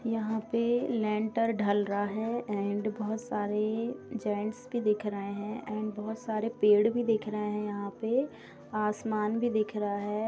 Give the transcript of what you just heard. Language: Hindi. यहाँ पर लेन्टर ढल रहा है एण्ड बहुत सारे जेन्ट्स भी दिख रहे हैं| एण्ड बहुत सारे पेड़ भी दिख रहे हैं यहाँ पे| आसमान भी दिख रहा है।